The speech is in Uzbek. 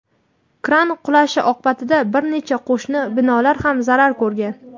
kran qulashi oqibatida bir nechta qo‘shni binolar ham zarar ko‘rgan.